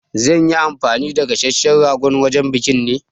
Za nyi anfani da gasasshen ragon wajen biƙin ne